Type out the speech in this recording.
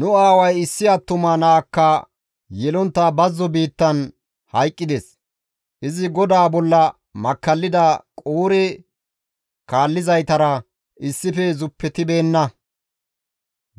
«Nu aaway issi attuma naakka yelontta bazzo biittan hayqqides; izi GODAA bolla makkallida Qoore kaallizaytara issife zuppetibeenna;